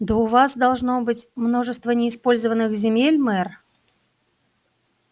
да у вас должно быть множество неиспользованных земель мэр